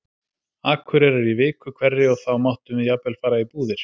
Akureyrar í viku hverri og þá máttum við jafnvel fara í búðir.